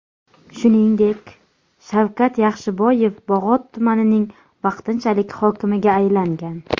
Shuningdek, Shavkat Yaxshiboyev Bog‘ot tumanining vaqtinchalik hokimiga aylangan .